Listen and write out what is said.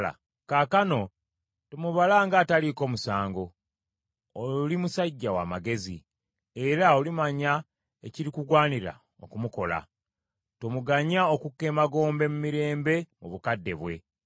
Kaakano tomubala ng’ataliiko musango. Oli musajja w’amagezi, era olimanya ekirikugwanira okumukola; tomuganyanga okukka emagombe mu mirembe mu bukadde bwe.”